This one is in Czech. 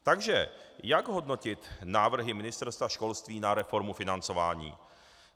Takže jak hodnotit návrhy Ministerstva školství na reformu financování?